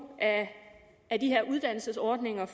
af de her uddannelsesordninger